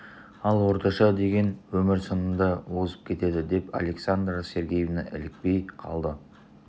ал орташа деген өмір сынында озып кетеді деп александра сергеевна илікпей қалды